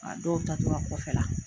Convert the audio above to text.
A dɔw taa tɔla kɔfɛla